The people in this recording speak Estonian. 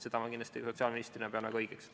Seda ma pean sotsiaalministrina kindlasti väga õigeks.